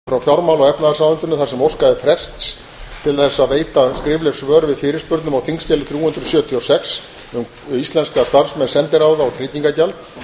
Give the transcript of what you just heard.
borist hafa bréf frá fjármála og efnahagsráðuneytinu þar sem óskað er frests til að veita skrifleg svör við fyrirspurnum á þingskjali þrjú hundruð sjötíu og sex um íslenska starfsmenn sendiráða og tryggingagjald